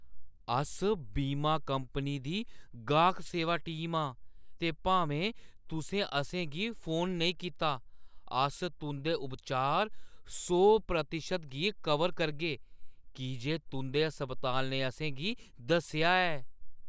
अस बीमा कंपनी दी गाह्क सेवा टीम आं ते भामें तुसें असेंगी फोन नेईं कीता, अस तुंʼदे उपचार सौ प्रतिशत गी कवर करगे की जे तुंʼदे अस्पताल ने असें गी दस्सेआ ऐ।